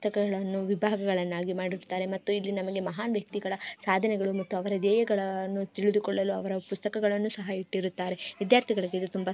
ಪುಸ್ತಕಗಳನ್ನು ವಿಭಾಗಗಳನ್ನಾಗಿ ಮಾಡಿರುತ್ತಾರೆ ಮತ್ತು ಇಲ್ಲಿ ನಮಗೆ ಮಹಾನ್ ವ್ಯಕ್ತಿಗಳ ಸಾಧನೆಗಳು ಮತ್ತುಯ ಅವರ ದೇಯಗಳನ್ನು ತಿಳಿದುಕೊಳ್ಳಲು ಅವರ ಪುಸ್ತಕಗಳನ್ನು ಸಹ ಇಟ್ಟಿರುತ್ತಾರೆ ವಿದ್ಯಾರ್ಥಿಗಳಿಗೆ ಇದು ತುಂಬಾ---